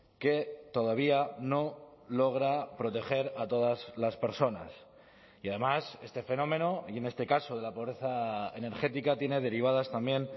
que todavía no logra proteger a todas las personas y además este fenómeno y en este caso de la pobreza energética tiene derivadas también